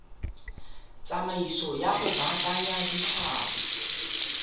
tsamaiso ya go baakanya ditlhapi